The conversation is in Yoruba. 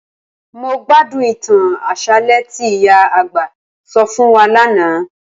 Mó gbádùn ìtàn àṣálẹ́ tí ìyá àgbà sọ fún wa lánàá